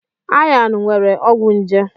Ayan nwere ọgwụ nje.